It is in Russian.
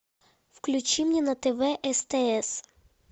включи мне на тв стс